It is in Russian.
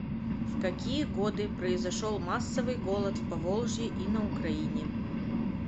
в какие годы произошел массовый голод в поволжье и на украине